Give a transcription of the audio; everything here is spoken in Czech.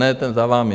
Ne, ten za vámi.